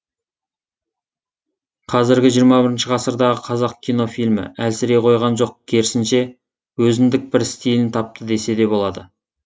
қазіргі жиырма бірінші ғасырдағы қазақ кино фильмі әлсірей қойған жоқ керісінше өзіндік бір стильін тапты деседе болады